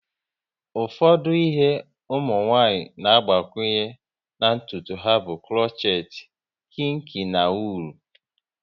Ụfọdụ ihe ụmụnwanyị na agbakwunye na ntụtu ha bụ krochet, kinki na wuul